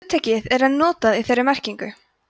hugtakið er enn notað í þeirri merkingu